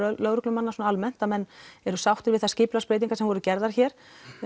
lögreglumanna svona almennt að menn eru sáttir við þær skipulagsbreytingar sem voru gerðar hér